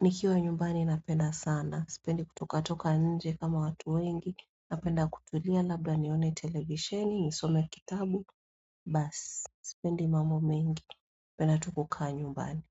nikiwa nyumbani napenda sana. Sipendi kutoka toka nje kama watu wengi, napenda kutulia, labda nione televisheni, nisome kitabu, bas. Sipendi mambo mengi, penda tu kukaa nyumbani.